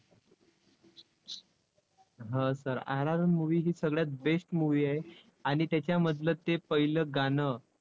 हा sirRRRmovie ही सगळ्यात best movie आहे. आणि त्याच्यामधलं ते पहिलं गाणं